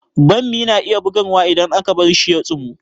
Bammi na iya bugarwa idan aka bar shi ya tsumu